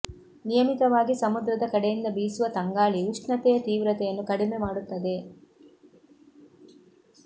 ನಿಯಮಿತವಾಗಿ ಸಮುದ್ರದ ಕಡೆಯಿಂದ ಬೀಸುವ ತಂಗಾಳಿ ಉಷ್ಣತೆಯ ತೀವ್ರತೆಯನ್ನು ಕಡಿಮೆ ಮಾಡುತ್ತದೆ